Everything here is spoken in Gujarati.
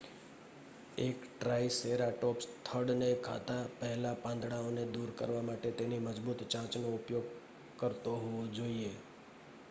એક ટ્રાઈસેરાટોપ્સ થડને ખાતા પહેલા પાંદડાઓને દૂર કરવા માટે તેની મજબૂત ચાંચનો ઉપયોગ કરતો હોવો જોઈએ